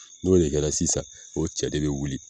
N'o de kɛra sisan o cɛ de be wuli